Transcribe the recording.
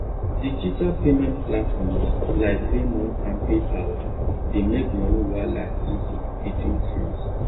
digital payment platforms like venmo and paypal dey make money wahala easy between friends